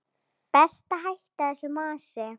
Best að hætta þessu masi.